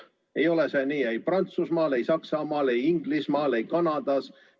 Ei ole see nii ei Prantsusmaal, ei Saksamaal, ei Inglismaal, ei Kanadas.